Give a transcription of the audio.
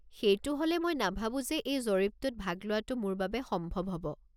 সেইটো হ'লে মই নাভাবো যে এই জৰীপটোত ভাগ লোৱাটো মোৰ বাবে সম্ভৱ হ'ব।